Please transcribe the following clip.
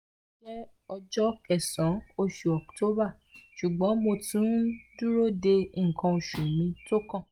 loni jẹ ọjọ kesan osu oct ṣugbọn mo tun n duro de nkan osu mi tókàn